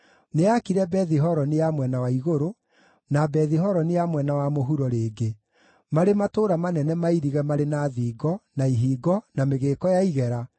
Nĩaakire Bethi-Horoni ya Mwena wa Igũrũ, na Bethi-Horoni ya Mwena wa Mũhuro rĩngĩ, marĩ matũũra manene mairige, marĩ na thingo, na ihingo, na mĩgĩĩko ya igera,